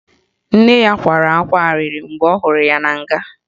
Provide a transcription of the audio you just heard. Nne ya kwara ákwá arịrị mgbe ọ hụrụ ya na nga